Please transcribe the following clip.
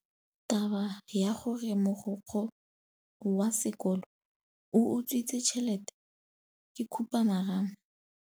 Taba ya gore mogokgo wa sekolo o utswitse tšhelete ke khupamarama.